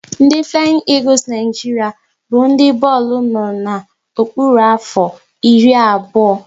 Ndị Flayin Egules Naijiria bụ ndị bọọlụ no na-okpuru afọ iri abụọ